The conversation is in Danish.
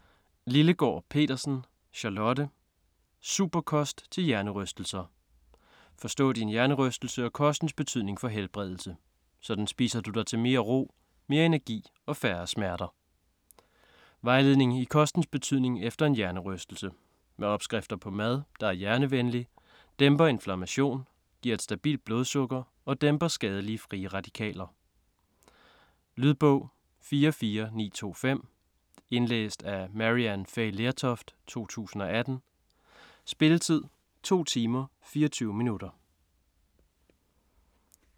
Lillegaard Petersen, Charlotte: Superkost til hjernerystelser: forstå din hjernerystelse og kostens betydning for helbredelse: sådan spiser du dig til mere ro, mere energi og færre smerter Vejledning i kostens betydning efter en hjernerystelse. Med opskrifter på mad, der er hjernevenlig, dæmper inflammation, giver et stabilt blodsukker og dæmper skadelige frie radikaler. Lydbog 44925 Indlæst af Maryann Fay Lertoft, 2018. Spilletid: 2 timer, 24 minutter.